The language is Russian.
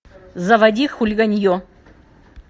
заводи хулиганье